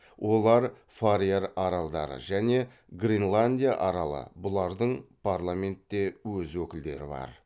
олар фарер аралдары және гренландия аралы бұлардың парламентте өз өкілдері бар